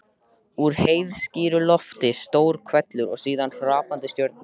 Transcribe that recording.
Úr heiðskíru lofti: stór hvellur og síðan hrapandi stjörnur.